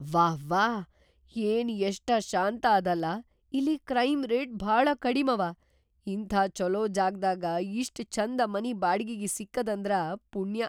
ವಾವ್ಹಾ, ಏನ್‌ ಎಷ್ಟ ಶಾಂತ ಅದಲಾ ಇಲ್ಲಿ ಕ್ರೈಮ್‌ ರೇಟ್ ಭಾಳ ಕಡಿಮವ! ಇಂಥ ಛೊಲೋ ಜಾಗ್ದಾಗ ಇಷ್ಟ್ ಛಂದ ಮನಿ ಬಾಡ್ಗಿಗಿ ಸಿಕ್ಕದಂದ್ರ ಪುಣ್ಯಾ.